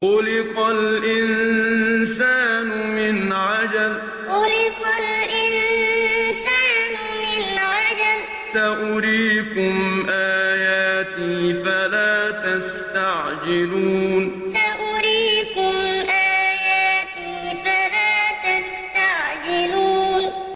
خُلِقَ الْإِنسَانُ مِنْ عَجَلٍ ۚ سَأُرِيكُمْ آيَاتِي فَلَا تَسْتَعْجِلُونِ خُلِقَ الْإِنسَانُ مِنْ عَجَلٍ ۚ سَأُرِيكُمْ آيَاتِي فَلَا تَسْتَعْجِلُونِ